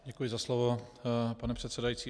Děkuji za slovo, pane předsedající.